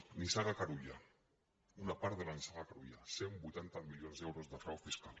nissaga carulla una part de la nissaga carulla cent i vuitanta milions d’euros de frau fiscal